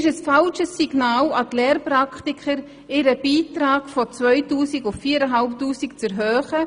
Ihren Beitrag von 2000 auf 4500 Franken zu erhöhen, ist ein falsches Signal an die Lehrpraktiker.